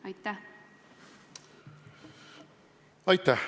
Aitäh!